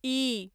इ